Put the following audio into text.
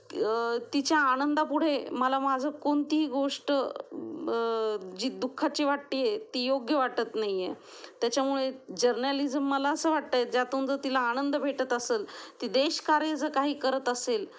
तिच्या आनंदा पुढे मला माझं कोणती गोष्ट जी दुःखाची वाटत आहे ती योग्य वाटत नाहीये. त्याच्यामुळे जर्नलिज्म मला असं वाटतं जर तिला आनंद भेटत असेल, ती देशकार्य जर काही करत असेल